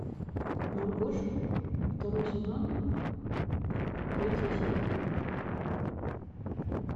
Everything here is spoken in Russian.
маргоша второй сезон третья серия